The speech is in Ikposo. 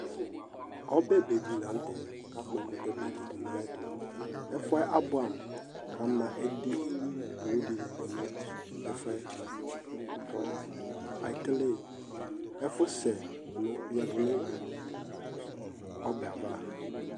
ɔbɛbedi latɛ kakpo ɛkutɛbedi nu ayitu ɛfuɛ abuamu kama edi dini nu ɛfuɛ, ku ekele ɛfusɛ yadunu ɔbɛava